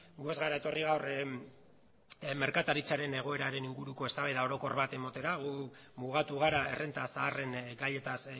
gu ez gara etorri gaur merkataritzaren egoeraren inguruko eztabaida orokor ba ematera gu mugatu gara errenta zaharren gaietaz